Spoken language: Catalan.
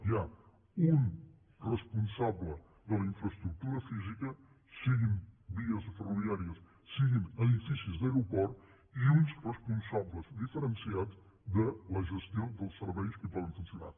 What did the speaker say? hi ha un responsable de la infraestructura física siguin vies ferroviàries siguin edificis d’aeroport i uns responsables diferenciats de la gestió dels serveis que hi poden funcionar